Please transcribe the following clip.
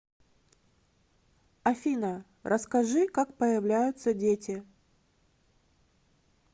афина расскажи как появляются дети